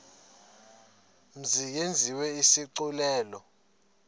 mzi yenziwe isigculelo